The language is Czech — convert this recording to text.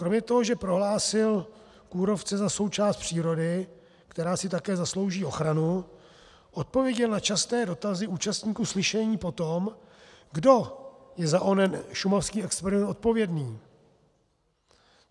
Kromě toho, že prohlásil kůrovce za součást přírody, která si také zaslouží ochranu, odpověděl na časté dotazy účastníků slyšení po tom, kdo je za onen šumavský experiment odpovědný.